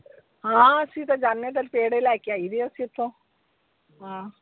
ਹਾਂ ਅਸੀਂ ਤੇ ਜਾਣੇ ਫਿਰ ਪੇੜੇ ਲੈ ਕੇ ਆਇਦੇ ਆ ਫਿਰ ਤੋਂ, ਹਾਂ।